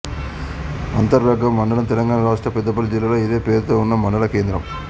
అంతర్గాం మండలం తెలంగాణ రాష్ట్రం పెద్దపల్లి జిల్లాలో ఇదే పేరుతో ఉన్న మండలం కేంద్రం